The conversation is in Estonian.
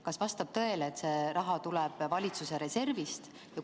Kas vastab tõele, et see raha tuleb valitsuse reservist?